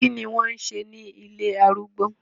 Kí ni wọ́n ń ṣe ní ilé arúgbó?